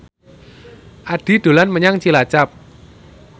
Addie dolan menyang Cilacap